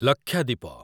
Lakshadweep